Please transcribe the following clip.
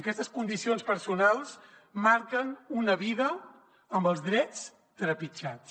aquestes condicions personals marquen una vida amb els drets trepitjats